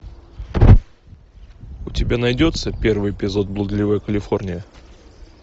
у тебя найдется первый эпизод блудливая калифорния